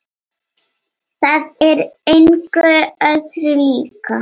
Það er engu öðru líkt.